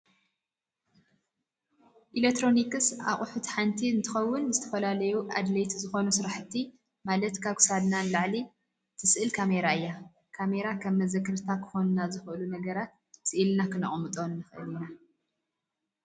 ኤሌክትሮኒስ ኣቁሑት ሓንቲ እንትከውን ዝተፈላለዩ ኣድላይቲ ዝኮኑ ስራሕቲ ማላት ካብ ክሳድና ንላዕሊ እትስእል ካሜራ እያ። ካሜራ ከም መዘከርታ ክኮኑና ዝክእሉ ነገራት ስኢልና ክነቅምጦ ንክእል ኢና።